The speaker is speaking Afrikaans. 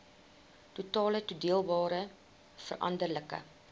totale toedeelbare veranderlike